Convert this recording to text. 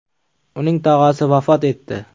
Uning tog‘asi vafot etdi.